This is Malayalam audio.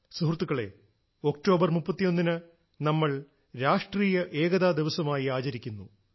സുഹൃത്തുക്കളേ ഒക്ടോബറിന് 31 ന് നമ്മൾ രാഷ്ട്രീയ ഏകതാ ദിവസമായി ആചരിക്കുന്നു